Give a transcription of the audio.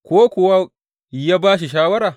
Ko kuwa yă ba shi shawara?